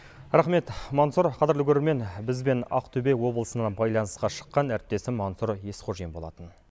рақмет мансұр қадірлі көрермен бізбен ақтөбе облысынан байланысқа шыққан әріптесім мансұр есқожин болатын